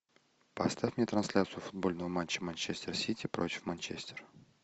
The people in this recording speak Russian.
поставь мне трансляцию футбольного матча манчестер сити против манчестер